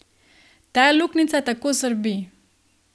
Ta luknjica tako srbi.